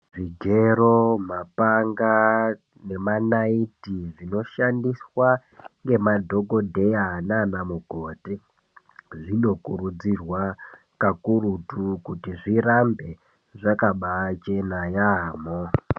Zvigero mapanga nemanaiti zvinoshandiswa nemadhokodheya nana mukoti zvinokurudzirwa kakurutu kuti zvirambe zvakabachena yambo.